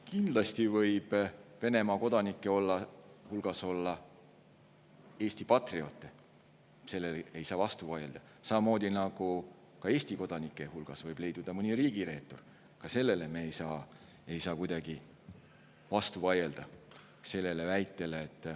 Kindlasti võib Venemaa kodanike hulgas olla Eesti patrioote, sellele ei saa vastu vaielda, samamoodi nagu Eesti kodanike hulgas võib leiduda mõni riigireetur, ka sellele ei saa me kuidagi vastu vaielda.